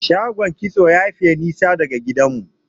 shagon kitso yayi Faye nisa da gidan mu